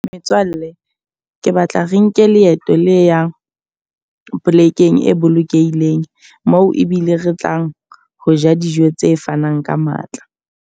Metswalle, ke batla re nke leeto le yang polekeng e bolokehileng. Moo ebile re tlang ho ja dijo tse fanang ka matla.